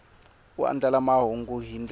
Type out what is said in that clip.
u andlala mahungu hi ndlela